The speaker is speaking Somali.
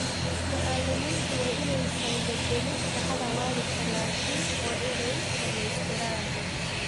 Macallimiintu waa inaysan bedelin shaqada waalidka laakiin waa inay dhammaystiraan.